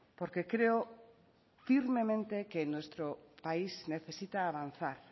porque creo firmemente que nuestro país necesita avanzar